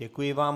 Děkuji vám.